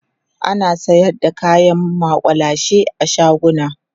ana sayar da kayan makullashe a shaguna